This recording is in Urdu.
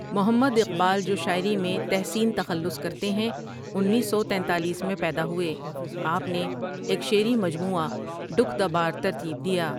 محمد اقبال جو شاعری میں تحسین تخلص کرتے ہیں انیس سو تینتالیس میں پیدا ہوئے آپ نے ایک شعری مجموعہ ڈکھ دا بار ترتیب دیا۔